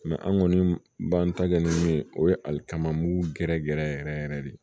an kɔni b'an ta kɛ ni min ye o ye alikama m'u gɛrɛgɛrɛ yɛrɛ yɛrɛ yɛrɛ de